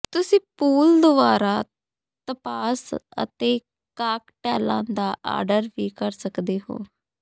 ਤੁਸੀਂ ਪੂਲ ਦੁਆਰਾ ਤਪਾਸ ਅਤੇ ਕਾਕਟੇਲਾਂ ਦਾ ਆਰਡਰ ਵੀ ਕਰ ਸਕਦੇ ਹੋ